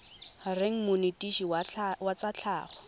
reng monetetshi wa tsa tlhago